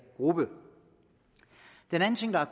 grupper den anden ting der